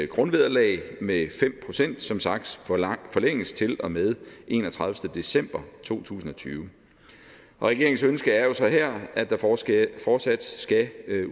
grundvederlag med fem procent som sagt forlænges til og med den enogtredivete december to tusind og tyve regeringens ønske er jo så her at der fortsat fortsat skal